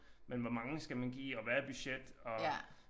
Men hvor mange skal man give og hvad er budget og